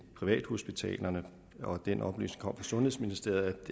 privathospitalerne og at den oplysning kom fra sundhedsministeriet